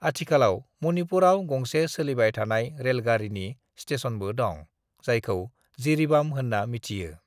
आथिखालाव मणिपुरआव गंसे सोलिबाय थानाय रेलगारिनि स्टेशनबो दं जायखौ जिरीबाम होनना मिथियो।